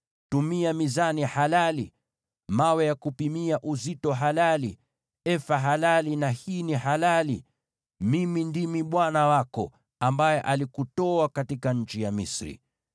Tumia mizani halali, mawe ya kupimia uzito halali, efa halali, na hini halali. Mimi ndimi Bwana Mungu wako, ambaye alikutoa katika nchi ya Misri.